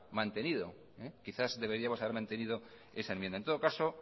mantenido esa enmienda en todo caso